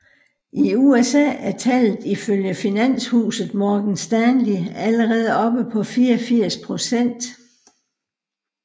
I USA er tallet ifølge finanshuset Morgan Stanley allerede oppe på 84 procent